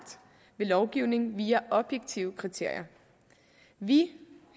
ved lovgivning via objektive kriterier vi